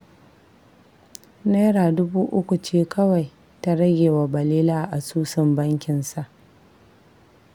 Naira dubu uku ce kawai ta rage wa Balele a asusun bankinsa